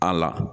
A la